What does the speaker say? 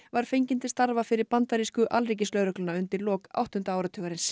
var fengin til starfa fyrir bandarísku alríkislögregluna undir lok áttunda áratugsins